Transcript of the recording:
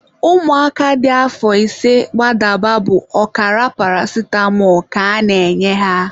Ụmụaka dị afọ ise gbadaba bụ ọkara paracitamọ ka a na-enye ha.